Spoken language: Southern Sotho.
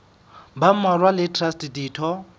ba mmalwa le traste ditho